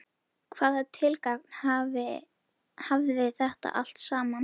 Hvaða tilgang hafði þetta allt saman?